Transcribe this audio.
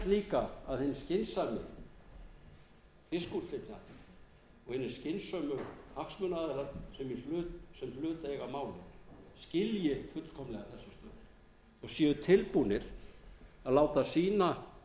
líka að hinn skynsemi fiskútflytjandi og hinir skynsömu hagsmunaaðilar sem hlut eiga að málum skilji fullkomlega og séu tilbúnir að láta sína